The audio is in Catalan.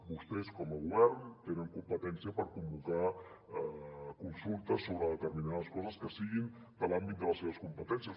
vostès com a govern tenen competència per convocar consultes sobre determinades coses que siguin de l’àmbit de les seves competències